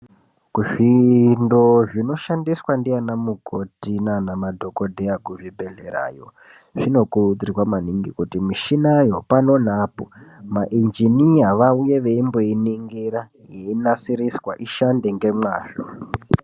Zvindo zvinodhandiswa ndianamukoti naanamadhokodheya kuzvidhokodheyayo zvinokurudzirwa maningi kuti mishinayo pano neapo mainjiniya vauye veimboiningira yeinasiriswa ishande ngemwazvo.